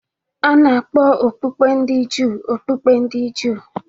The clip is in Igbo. A na-akpọ okpukpe ndị Juu okpukpe ndị Juu